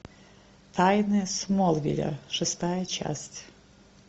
тайны смолвиля шестая часть